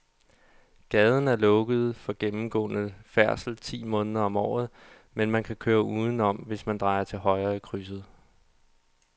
Gaden er lukket for gennemgående færdsel ti måneder om året, men man kan køre udenom, hvis man drejer til højre i krydset.